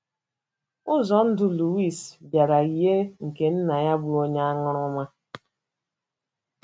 Ụzọ ndụ Luis bịara yie nke nna ya bụ́ onye aṅụrụma.